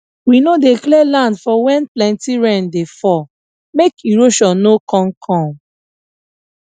we no dey clear land for when plenty rain dey fall make erosion no con come